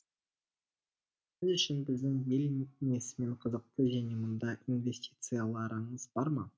сіз үшін біздің ел несімен қызықты және мұнда инвестицияларыңыз бар ма